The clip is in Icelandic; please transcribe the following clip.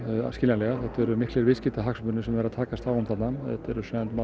skiljanlega þetta eru miklir viðskiptahagsmunir sem verið er að takast á um þarna þetta eru